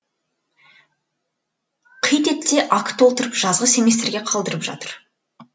қит етсе акт толтырып жазғы семестрге қалдырып жатыр